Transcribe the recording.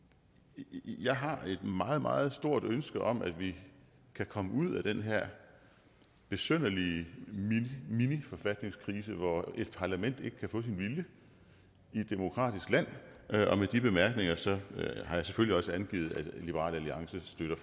jeg har et meget meget stort ønske om at vi kan komme ud af den her besynderlige miniforfatningskrise hvor et parlament ikke kan få sin vilje i et demokratisk land og med de bemærkninger har jeg selvfølgelig også angivet at liberal alliance støtter